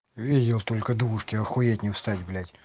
видел только двушки охуеть не встать блять